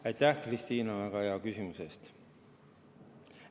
Aitäh, Kristina, väga hea küsimuse eest!